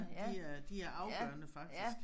De øh de er afgørende faktisk